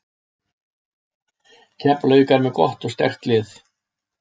Keflavík er með gott og sterkt lið.